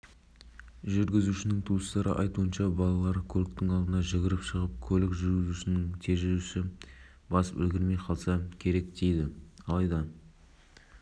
аулалардың бірінде екі баланы соғып кетті балалардың ата-аналары мен жүргізушінің туыстары аталмыш оқиғаға қатысты әр түрлі